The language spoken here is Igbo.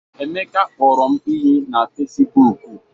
Emeka kpọrọ m iyi na Fesibuuku.